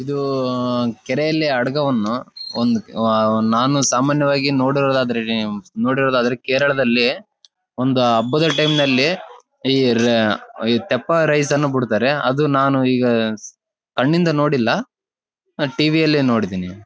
ಇದು ಕೆರೆಯಲ್ಲಿ ಅಡಗವನ್ನು ಒಂದು ನಾನು ಸಾಮಾನ್ಯವಾಗಿ ನೋಡಿರೋದಾದ್ರೆ ನೀವ್ ಕೇರಳದಲ್ಲಿ ಒಂದ್ ಹಬ್ಬದ ಟೈಮ್ ಅಲ್ಲಿ ಈ ರೈ ತೆಪ್ಪ ರೈಸ್ ಅನ್ನು ಬಿಡ್ತಾರೆ ಅದು ನಾನು ಈಗ ಕಣ್ಣಿಂದ ನೋಡಿಲ್ ಟಿವಿ ಅಲ್ಲಿ ನೋಡಿದೀನಿ